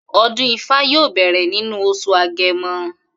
O̩dún ifá yóò bè̩rè̩ nínú os̩ù Age̩mo̩